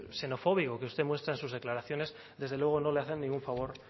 xenofóbico que usted muestra en sus declaraciones desde luego no le hace ningún favor